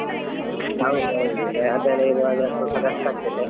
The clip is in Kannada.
ಹೌದೌದು ಅದೆಲ್ಲ ಇವಾಗ ಸ್ವಲ್ಪ ಕಷ್ಟ ಆಗ್ತದೆ .